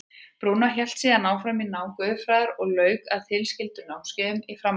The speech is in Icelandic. Brúnó hélt síðan áfram námi í guðfræði og lauk tilskildum námskeiðum í framhaldsnámi sínu.